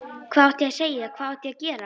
Hvað átti ég að segja, hvað átti ég að gera?